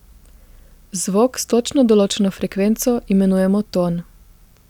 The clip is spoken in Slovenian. Zvok s točno določeno frekvenco imenujemo ton.